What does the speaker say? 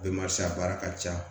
a baara ka ca